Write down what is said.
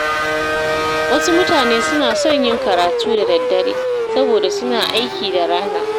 Wasu mutane suna son yin karatu da daddare saboda suna aiki da rana.